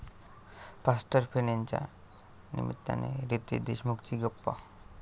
faster फेणे'च्या निमित्तानं रितेश देशमुखशी गप्पा